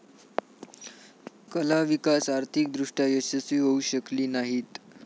कला विकास आर्थिक दृष्ट्या यशस्वी होऊ शकली नाहीत.